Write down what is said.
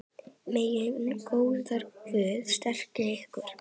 Megi góður Guð styrkja ykkur.